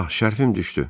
Ax, şərfim düşdü.